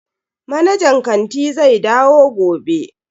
Manajan kanti zai dawo gobe.